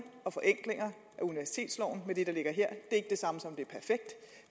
og forenklinger i universitetsloven med det der ligger her ikke det samme som